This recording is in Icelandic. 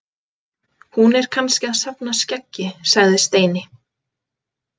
Hún er kannski að safna skeggi sagði Steini.